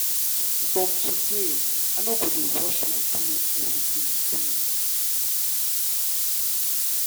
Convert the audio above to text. from today i no go dey wash my cloth everyday again